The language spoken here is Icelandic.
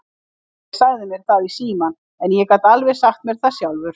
Kalli sagði mér það í símann, en ég gat alveg sagt mér það sjálfur.